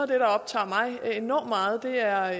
der optager mig endog meget er